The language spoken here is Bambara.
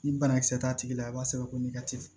Ni banakisɛ t'a tigi la a b'a sɛbɛn ko